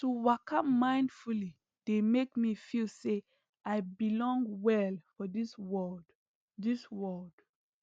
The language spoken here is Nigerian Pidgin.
to waka mindfully dey make me feel say i belong well for this world this world